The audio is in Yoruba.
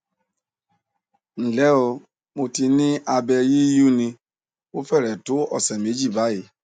nle o mo ti ni abe yiyunni o fere to ọsẹ meji bayi